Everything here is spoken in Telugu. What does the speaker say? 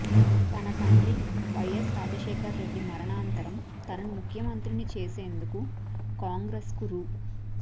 తన తండ్రి వైయస్ రాజశేఖరరెడ్డి మరణానంతరం తనను ముఖ్యమంత్రిని చేసేందుకు కాంగ్రెస్ కు రూ